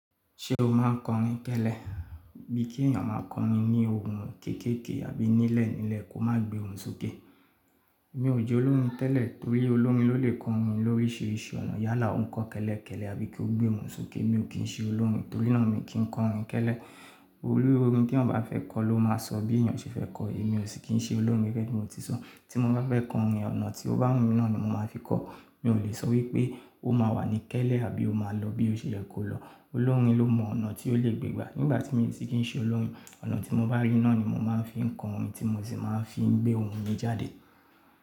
Ṣé o máa ń kọrin tẹ́lẹ́ bí kí èèyàn máa kọrin ní ohùn kéékèèké àbí nílẹ̀ nílẹ̀ kó má gbé ohùn sókè? Mi ò jẹ́ olórin tẹ́lẹ̀ torí olórin ló lè kọrin lórí ṣíṣe ọ̀nà yálà ó ń kọ kẹ́lẹ́ kẹ́lẹ́ àbí kí ó gbé ohùn sókè. Mi ò kín ṣe olórin torí náà mi o kì í kọrin tẹ́lẹ́. Olorin tí ọ̀ bá fẹ́ kọ ló máa sọ bí èèyàn ṣe fẹ́ kọ èyí mi ò sì kín ṣe olórin gẹ́gẹ́ bí mo ti sọ. Tí mo bá fẹ́ kọrin, ọ̀nà tí ó bá wù mí náà ni mo máa fi kọ. Mi ò lè sọ wípé ó máa wà ní kẹ́lẹ́ àbí ó máa lọ bí ó ṣe yẹ kó lọ. Olórin ló mọ ọ̀nà tí ó lè gbé gbà. Nígbà tí mi ò tíì kí í ṣe olórin, ọ̀nà tí mo bá rí náà ni mo máa ń fi kọ orin tí mo sì máa ń fi gbé ohùn mi jáde.